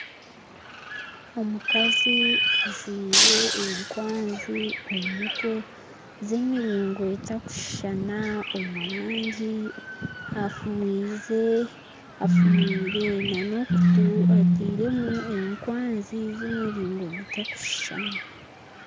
Omukazi ajwire enkwanzi omu mutwe z'emiringo etakushuushana omu rangi afumwire n'okutu atairemu ekwanzi z'emiringo gutakushuushana